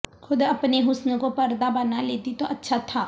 خود اپنے حسن کو پردہ بنالیتی تو اچھا تھا